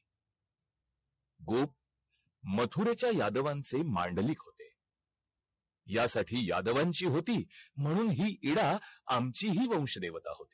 अच्छा आमच्या सारखाच असतं का , तुम्हाला commerce वाल्यांना. पण last year ला कि एकाच विषयाचा अभ्यास करायचा .